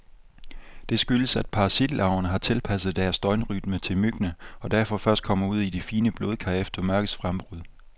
Det skyldes, at parasitlarverne har tilpasset deres døgnrytme til myggene, og derfor først kommer ud i de fine blodkar efter mørkets frembrud.